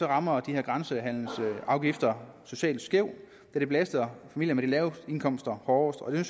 rammer de her grænsehandelsafgifter socialt skævt da det belaster familier med de laveste indkomster hårdest og jeg